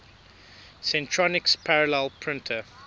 centronics parallel printer